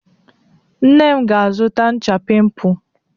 Nne m ga-azụta ncha pimpụ.